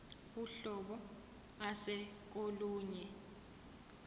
uhlobo ase kolunye